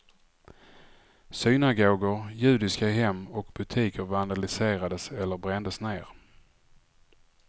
Synagogor, judiska hem och butiker vandaliserades eller brändes ner.